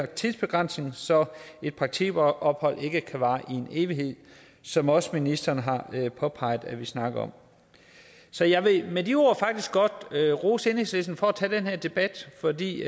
tidsbegrænsning så et praktikophold ikke kan vare i en evighed som også ministeren har påpeget at vi snakker om så jeg vil med de ord godt rose enhedslisten for at tage den her debat fordi